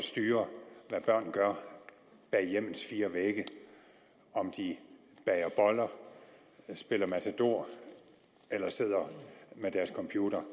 styre hvad børn gør bag hjemmets fire vægge om de bager boller spiller matador eller sidder ved deres computer